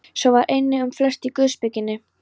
Svo var einnig um flest í guðspekinni.